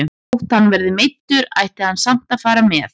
Þó hann verði meiddur ætti hann samt að fara með.